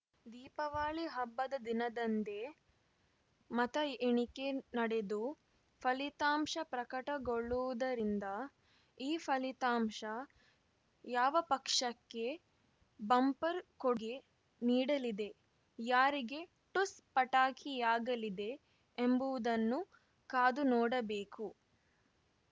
ದೀಪವಳಿ ಹಬ್ಬದ ದಿನದಂದೇ ಮತ ಎಣಿಕೆ ನಡೆದು ಫಲಿತಾಂಶ ಪ್ರಕಟಗೊಳ್ಳುವುದರಿಂದ ಈ ಫಲಿತಾಂಶ ಯಾವ ಪಕ್ಷಕ್ಕೆ ಬಂಪರ್‌ ಕೊಡುಗೆ ನೀಡಲಿದೆ ಯಾರಿಗೆ ಠುಸ್‌ ಪಟಾಕಿಯಾಗಲಿದೆ ಎಂಬುವುದನ್ನು ಕಾದು ನೋಡಬೇಕು